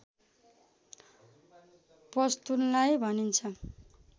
पस्तुनलाई भनिन्छ